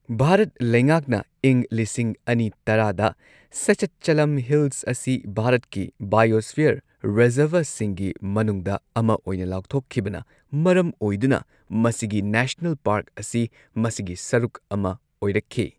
ꯚꯥꯔꯠ ꯂꯩꯉꯥꯛꯅ ꯏꯪ ꯂꯤꯁꯤꯡ ꯑꯅꯤ ꯇꯔꯥꯗ ꯁꯦꯆꯠꯆꯂꯝ ꯍꯤꯜꯁ ꯑꯁꯤ ꯚꯥꯔꯠꯀꯤ ꯕꯥꯏꯑꯣꯁꯐꯤꯌꯔ ꯔꯤꯖꯔꯕꯔꯁꯤꯡꯒꯤ ꯃꯅꯨꯡꯗ ꯑꯃ ꯑꯣꯏꯅ ꯂꯥꯎꯊꯣꯛꯈꯤꯕꯅ ꯃꯔꯝ ꯑꯣꯏꯗꯨꯅ, ꯃꯁꯤꯒꯤ ꯅꯦꯁꯅꯦꯜ ꯄꯥꯔꯛ ꯑꯁꯤ ꯃꯁꯤꯒꯤ ꯁꯔꯨꯛ ꯑꯃ ꯑꯣꯏꯔꯛꯈꯤ꯫